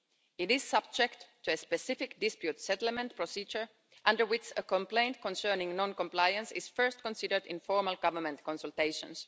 It is subject to a specific dispute settlement procedure, under which a complaint concerning non-compliance is first considered in formal government consultations.